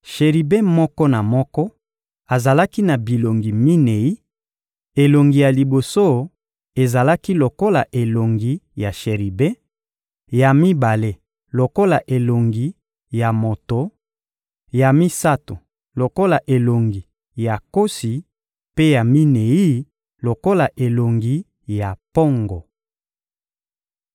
Sheribe moko na moko azalaki na bilongi minei: elongi ya liboso ezalaki lokola elongi ya sheribe, ya mibale lokola elongi ya moto, ya misato lokola elongi ya nkosi mpe ya minei lokola elongi ya mpongo.